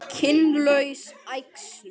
Kynlaus æxlun